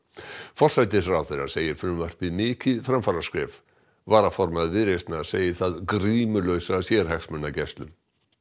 forsætisráðherra segir frumvarpið mikið framfaraskref varaformaður Viðreisnar segir það grímulausa sérhagsmunagæslu